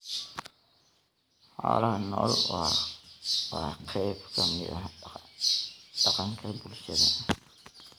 Xoolaha nooli waa qayb ka mid ah dhaqanka bulshada.